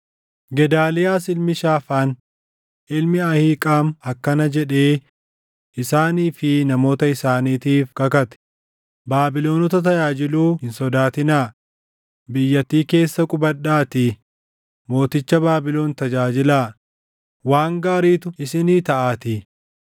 Gedaaliyaas ilmi Shaafaan, ilmi Ahiiqaam akkana jedhee isaanii fi namoota isaaniitiif kakate; “Baabilonota tajaajiluu hin sodaatinaa; biyyattii keessa qubadhaatii mooticha Baabilon tajaajilaa; waan gaariitu isinii taʼaatii.